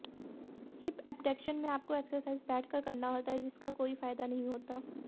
hip abduction में आपको exercise बैठकर करना होता है जिसका कोई फायदा नहीं होता है